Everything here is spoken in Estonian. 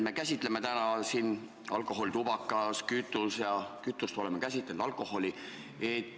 Me käsitleme täna siin alkoholi, ka tubakat ja kütust oleme käsitlenud.